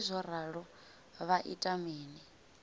arali zwo ralo vha ita mini